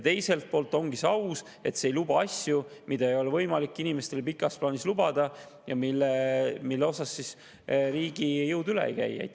Teiselt poolt ongi see aus, sest see ei luba asju, mida ei ole võimalik inimestele pikas plaanis lubada ja millest riigi jõud üle ei käi.